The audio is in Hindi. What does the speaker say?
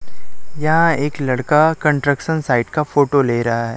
यहां एक लड़का कंस्ट्रक्शन साइट का फोटो ले रहा है।